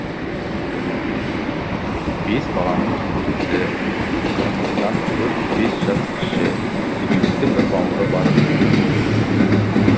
бес баланың кенжесі қырмызыдан төрт бес жас кіші сүйікті бір бауыры бар тын